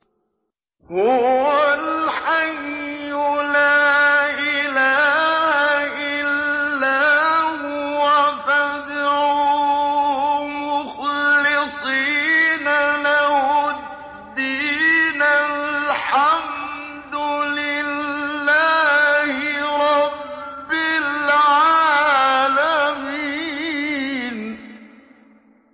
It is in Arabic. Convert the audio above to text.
هُوَ الْحَيُّ لَا إِلَٰهَ إِلَّا هُوَ فَادْعُوهُ مُخْلِصِينَ لَهُ الدِّينَ ۗ الْحَمْدُ لِلَّهِ رَبِّ الْعَالَمِينَ